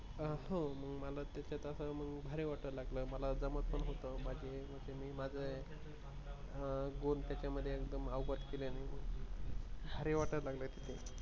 अ हो मला आता त्याच्यात भारी वाटायला लागला आहे मला जमत पण आहे ते अ म्हणजे मी माझं goal त्याच्यात अवगत केल्याने